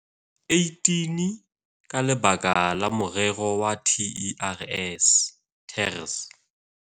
18 ka lebaka la morero wa TERS.